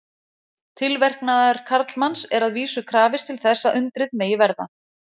Tilverknaðar karlmanns er að vísu krafist til þess að undrið megi verða.